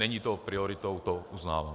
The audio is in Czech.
Není to prioritou, to uznávám.